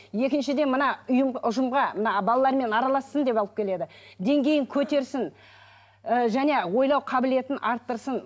екіншіден мына ұжымға мына балалармен аралассын деп алып келеді деңгейін көтерсін ы және ойлау қабілетін арттырсын